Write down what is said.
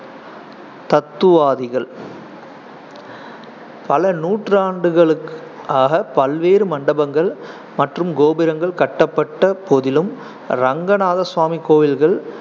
தத்துவாதிகள் பல நூற்றாண்டுகளு~ ஆக பல்வேறு மண்டபங்கள் மற்றும் கோபுரங்கள் கட்டப்பட்ட போதிலும், ரங்கநாதசுவாமி கோவில்கள்